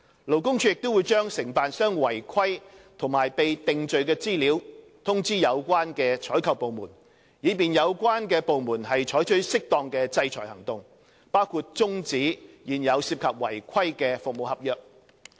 勞工處亦會將承辦商違規和被定罪的資料通知有關採購部門，以便有關部門採取適當的制裁行動，包括終止現有涉及違規的服務合約。